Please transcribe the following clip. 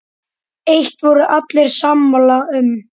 Eitt voru allir sammála um.